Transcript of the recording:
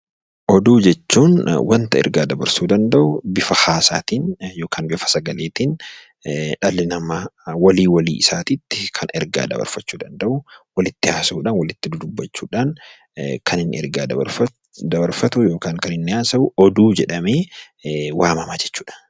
Oduu jechuun waanta ergaa dabarsuu danda'u bifa haasaatiin yookaan bifa sagaleetiin dhalli namaa walii walii isaatiitti kan ergaa dabarfachuu danda'u, walitti haasa'uudhaan walitti dudubbachuudhaan kan inni ergaa dabarfatu yookiin kan inni haasa'u oduu jedhamee waamama jechuudha.